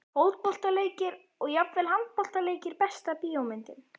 Fótboltaleikir og jafnvel handboltaleikir Besta bíómyndin?